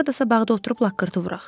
Hardasa bağda oturub laqqırtı vuraq.